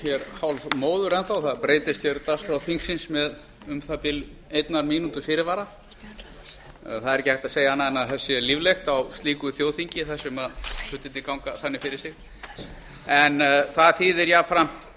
hér hálfmóður enn þá það breytist hér dagskrá þingsins með um það bil einnar mínútu fyrirvara það er ekki hægt að segja annað en að það sé líflegt á slíku þjóðþingi þar sem hlutirnir ganga þannig fyrir sér það þýðir jafnframt